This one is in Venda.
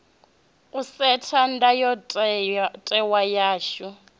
u setha ndayo tewa yashu